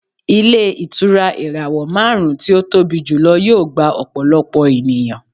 Ilé ìtura ìràwọ̀ márùn-ún tí ó tóbi jùlọ yóò gba ọ̀pọ̀lọpọ̀ ènìyàn